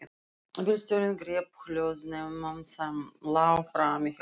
Bílstjórinn greip hljóðnema sem lá frammí hjá honum.